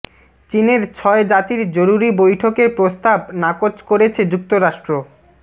চীনের ছয় জাতির জরুরি বৈঠকের প্রস্তাব নাকচ করেছে যুক্তরাষ্ট্র